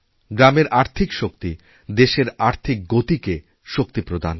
গ্রামের আর্থিক শক্তি দেশের আর্থিক গতিকে শক্তিপ্রদান করে